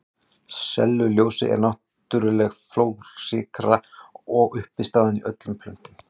Sellulósi er náttúrleg fjölsykra og er uppistaðan í öllum plöntum.